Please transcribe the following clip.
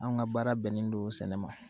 Anw ka baara bɛnnen don sɛnɛ ma